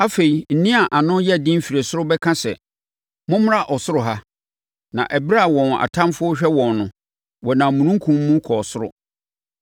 Afei, nne a ano yɛ den firi ɔsoro bɛka sɛ, “Mommra ɔsoro ha.” Na ɛberɛ a wɔn atamfoɔ rehwɛ wɔn no, wɔnam omununkum mu kɔɔ ɔsoro.